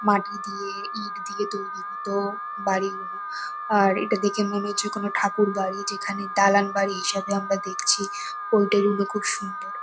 মাটি দিয়ে ইট দিয়ে তৈরি হতো বাড়ি গুলো আর এটা দেখে মনে হচ্ছে কোন ঠাকুরবাড়ি যেখানে দালান বাড়ি হিসেবে আমরা দেখছি ঐ দিন গুলো খুব সুন্দর--